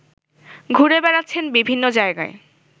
ঘুরে বেড়াচ্ছেন বিভিন্ন জায়গায়